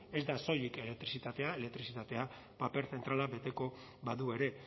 ez da soilik elektrizitatea elektrizitateak paper zentrala beteko badu ere